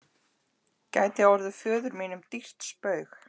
gæti orðið föður mínum dýrt spaug.